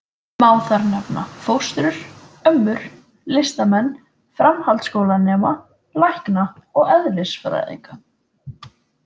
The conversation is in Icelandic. Má þar nefna: fóstrur, ömmur, listamenn, framhaldsskólanema, lækna og eðlisfræðinga.